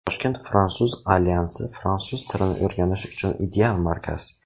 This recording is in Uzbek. Toshkent Fransuz Alyansi fransuz tilini o‘rganish uchun ideal markaz.